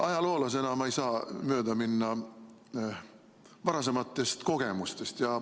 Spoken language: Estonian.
Ajaloolasena ma ei saa mööda minna varasematest kogemustest.